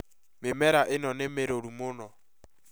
Mĩmera ĩno nĩ mĩrũru mũno